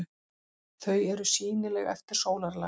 Þau eru sýnileg eftir sólarlag.